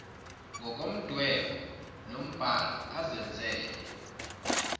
ngomdwebo nombhalo azenzele